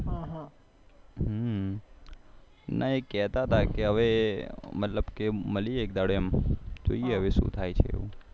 મતલબ કે મળીએ એક દડો એમ જોઈએ હવે શું થાય છે